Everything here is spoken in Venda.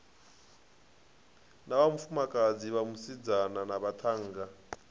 na vhafumakadzi vhasidzana na vhaṱhannga